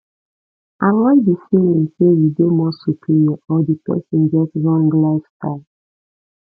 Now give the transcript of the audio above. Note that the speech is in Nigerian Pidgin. avoid di feeling sey you dey more superior or di person get wrong lifestyle